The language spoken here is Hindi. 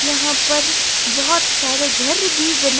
यहां पर बहोत सारे घर भी बना--